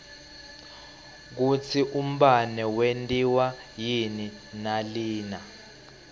kutsi umbane wentiwa yini nalina